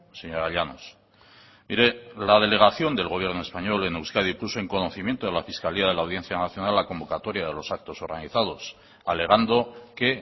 señora llanos mire la delegación del gobierno español en euskadi puso en conocimiento de la fiscalía de la audiencia nacional la convocatoria de los actos organizados alegando que